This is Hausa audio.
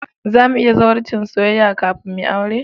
Za mu yi zawarcin soyayya kafin mu yi aure